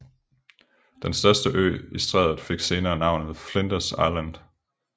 Den største ø i strædet fik senere navnet Flinders Island